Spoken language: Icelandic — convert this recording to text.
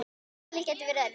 Valið gæti verið erfitt.